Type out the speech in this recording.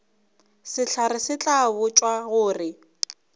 sehlare se tla botšwa gore